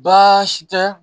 Baasi tɛ